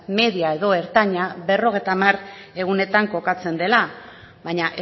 media edo ertaina berrogeita hamar egunetan kokatzen dela baina